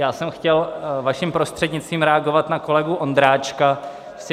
Já jsem chtěl, vaším prostřednictvím, reagovat na kolegu Ondráčka.